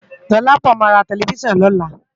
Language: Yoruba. Dolapo má rá tèlèfisán lòlá